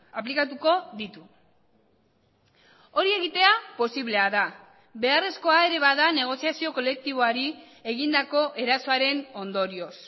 aplikatuko ditu hori egitea posiblea da beharrezkoa ere bada negoziazio kolektiboari egindako erasoaren ondorioz